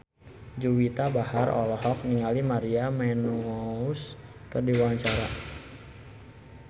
Juwita Bahar olohok ningali Maria Menounos keur diwawancara